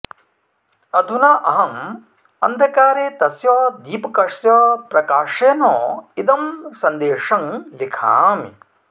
अधुना अहम् अन्धकारे तस्य दीपकस्य प्रकाशेन इदं संदेशं लिखामि